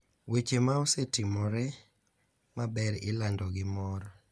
Weche ma osetimore maber ilando gi mor,